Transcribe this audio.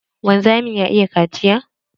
Wanzamin ya iya kaciya?